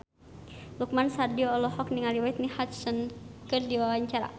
Lukman Sardi olohok ningali Whitney Houston keur diwawancara